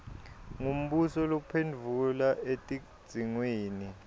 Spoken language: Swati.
ngumbuso lophendvula etidzingweni